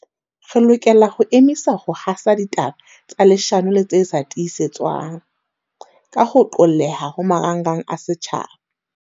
Re lokela ho emisa ho hasa ditaba tsa leshano le tse sa tiisetswang, ka ho qolleha ho marangrang a setjhaba.